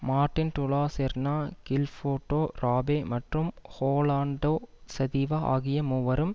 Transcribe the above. Martin Dulacerna Gilberto Rabe மற்றும் Rolando Sativa ஆகிய மூவரும்